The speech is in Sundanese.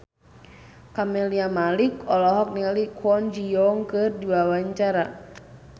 Camelia Malik olohok ningali Kwon Ji Yong keur diwawancara